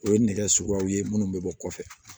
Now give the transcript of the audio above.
O ye nɛgɛ suguyaw ye munnu bɛ bɔ kɔfɛ